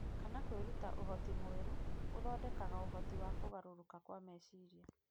kana kwĩruta ũhoti mwerũ, gũthondekaga ũhoti wa kũgarũrũka kwa meciria.